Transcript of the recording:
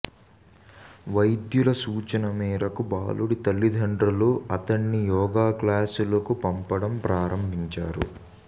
వైద్యుల సూచన మేరకు బాలుడి తల్లిదండ్రులు అతణ్ణి యోగా క్లాసులకు పంపడం ప్రారంభించారు